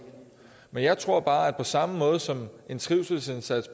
men jeg tror bare at på samme måde som en trivselsindsats